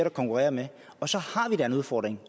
at konkurrere med og så har vi da en udfordring